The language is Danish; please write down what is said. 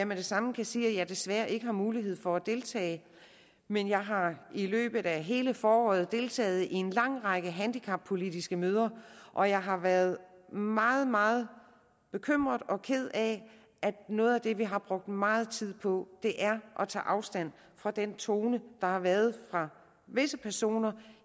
med det samme sige at jeg desværre ikke har mulighed for at deltage men jeg har i løbet af hele foråret deltaget i en lang række handicappolitiske møder og jeg har været meget meget bekymret og ked af at noget af det vi har brugt meget tid på er at tage afstand fra den tone der har været fra visse personer